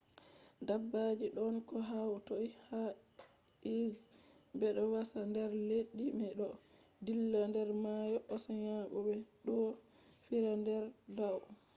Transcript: dabbaji ɗon ko hatoi ha earth. ɓeɗo wasa der leddi me ɗo dilla der mayo oceans bo ɓe ɗo fiira der dau